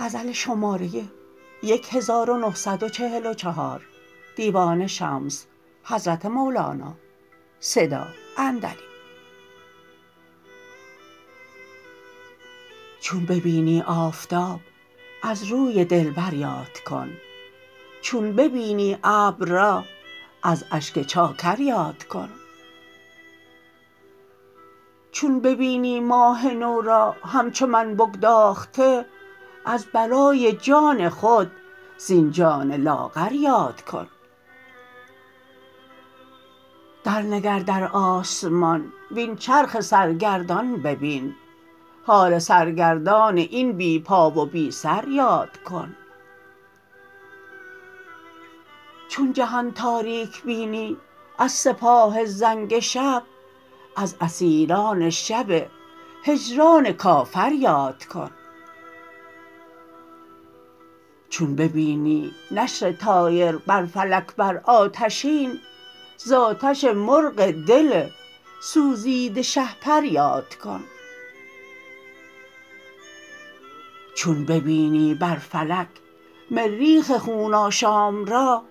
چون ببینی آفتاب از روی دلبر یاد کن چون ببینی ابر را از اشک چاکر یاد کن چون ببینی ماه نو را همچو من بگداخته از برای جان خود زین جان لاغر یاد کن درنگر در آسمان وین چرخ سرگردان ببین حال سرگردان این بی پا و بی سر یاد کن چون جهان تاریک بینی از سپاه زنگ شب از اسیران شب هجران کافر یاد کن چون ببینی نسر طایر بر فلک بر آتشین ز آتش مرغ دل سوزیده شهپر یاد کن چون ببینی بر فلک مریخ خون آشام را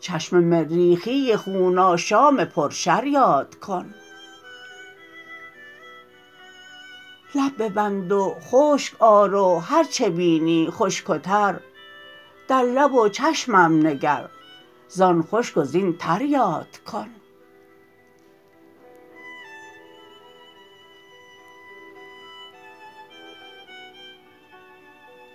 چشم مریخی خون آشام پرشر یاد کن لب ببند و خشک آر و هر چه بینی خشک و تر در لب و چشمم نگر زان خشک و زین تر یاد کن